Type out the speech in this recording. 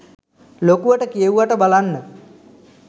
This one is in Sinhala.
ලොකුවට කියෙව්වට බලන්න